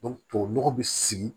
tubabu nɔgɔ bi sigi